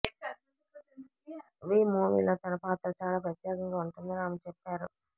వి మూవీలో తన పాత్ర చాలా ప్రత్యేకంగా ఉంటుందని ఆమె చెప్పారు